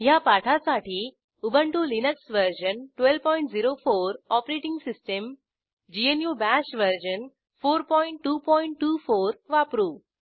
ह्या पाठासाठी Ubuntu Linux version 1204 OS GNU Bash version 4224 वापरू